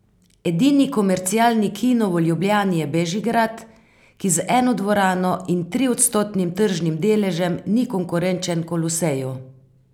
Edini komercialni kino v Ljubljani je Bežigrad, ki z eno dvorano in triodstotnim tržnim deležem ni konkurenčen Koloseju.